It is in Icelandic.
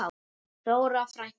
Þóra frænka.